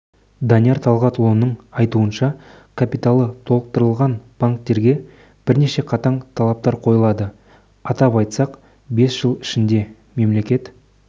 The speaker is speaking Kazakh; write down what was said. данияр талғатұлының айтуынша капиталы толықтырылған банктерге бірнеше қатаң талаптар қойылды атап айтсақ бес жыл ішінде мемлекет